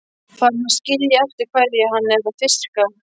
Farin að skilja eftir hverju hann er að fiska.